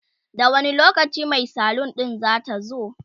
da wani lokacin Mai salun din zatazo?